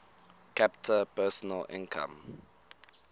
capita personal income